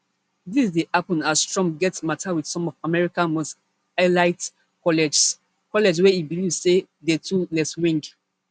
dis dey happen as trump get mata with some of america most elite colleges colleges wey e believe say dey too leftwing